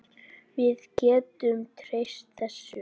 Við getum treyst þessu.